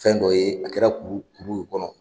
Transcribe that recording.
Fɛn dɔ ye a kɛra kuru kuruw kɔnɔ.